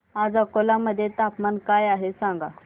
आज अकोला मध्ये तापमान काय आहे सांगा